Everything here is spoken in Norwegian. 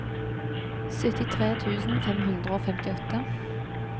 syttitre tusen fem hundre og femtiåtte